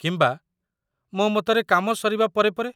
କିମ୍ବା, ମୋ ମତରେ, କାମ ସରିବା ପରେ ପରେ।